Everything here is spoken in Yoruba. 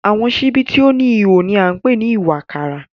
Àwọn ṣíbí tí ó níhò ni wọ́n máa ń pè ní ìwàkàrà.